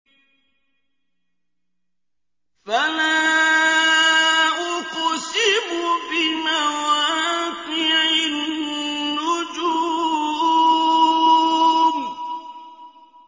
۞ فَلَا أُقْسِمُ بِمَوَاقِعِ النُّجُومِ